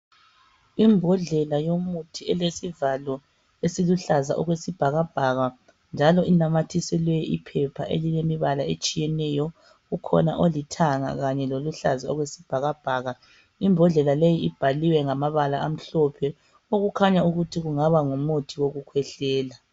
Imbodlela yomuthi elesivalo esiluhlaza okwesibhakabhaka njalo inamathiselwe iphepha elilemibala etshiyeneyo. Ukhona olithanga kanye loluhlaza okwesibhakabhaka, imbodlela leyi ibhaliwe ngamabala amhlophe okukhanya ukuthi kungaba ngumuthi wokukhwehlela.